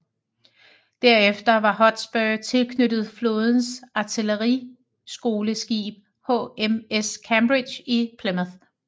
Derefter var Hotspur tilknyttet flådens artilleriskoleskib HMS Cambridge i Plymouth